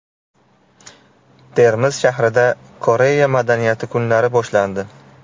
Termiz shahrida Koreya madaniyati kunlari boshlandi.